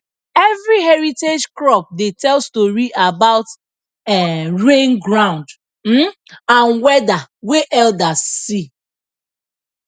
every heritage crop dey tell story about um rain ground um and weather wey elders see